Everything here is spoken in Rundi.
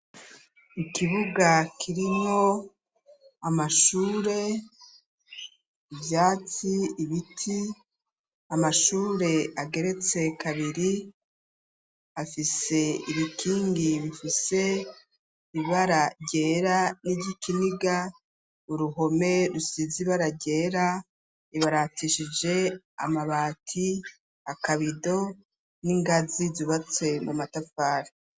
Ikibuga kirimwo, amashure, Ivyatsi ,ibiti ,Amashure ageretse kabiri, afise ibikingi bifise ibara ryera n'igikiniga uruhome rusizi baragera, ibaratishije Amabati, akabido ,n'ingazi zubatse n' Amatafari.